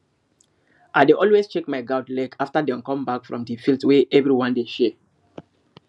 i dey always check my goat leg after dem come back from the field wey everyone dey share